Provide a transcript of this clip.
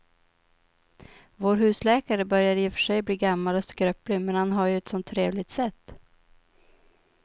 Vår husläkare börjar i och för sig bli gammal och skröplig, men han har ju ett sådant trevligt sätt!